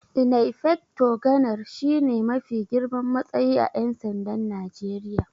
Inaifecta Ganar shi ne mafi girman matsayi a Ƴan sandan Najeriya.